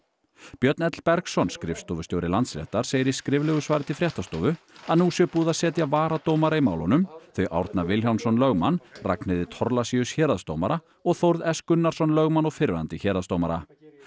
Björn l Bergsson skrifstofustjóri Landsréttar segir í skriflegu svari til fréttastofu að nú sé búið að setja varadómara í málunum þau Árna Vilhjálmsson lögmann Ragnheiði Thorlacius héraðsdómara og Þórð s Gunnarsson lögmann og fyrrverandi héraðsdómara